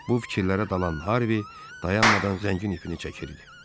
Bu fikirlərə dalan Harvey dayanmadan zəngin ipini çəkirdi.